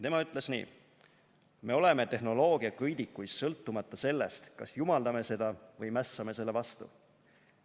Tema ütles nii: "Oleme tehnoloogia köidikuis sõltumata sellest, kas jumaldame seda või mässame selle vastu.